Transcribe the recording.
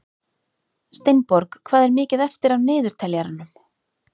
Steinborg, hvað er mikið eftir af niðurteljaranum?